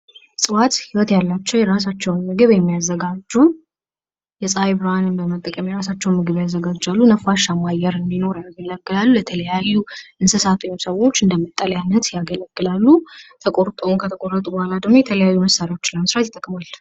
እፅዋት ሕይወት ያላቸው የራሳቸውን ምግብ የሚያዘጋጁ የፀሐይ ብርሃንን በመጠቀም የራሳቸውን ምግብ ያዘጋጃሉ::ነፋሻማ አየር እንዲኖር ያገለጋሉ የተለያዩ እንስሳት ወይም ሰዎች እንደ መጠለያነት ያገለግላሉ ተቆርጠውም ከተቆረጡ ቡሀላ የተለያዩ መሳሪያዎችን ለመስራት ይጠቅማል::